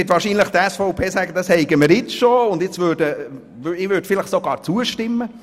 Nun wird die SVP wahrscheinlich sagen, das hätten wir bereits, und ich würde vielleicht sogar zustimmen.